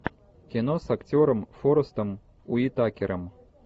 кино с актером форестом уитакером